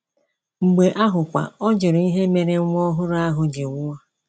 Mgbe ahụkwa, ọ jụrụ ihe mere nwa ọhụrụ ahụ ji nwụọ.